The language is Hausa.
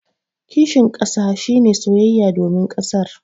Kishin kasa shi ne soyayya domin kasar.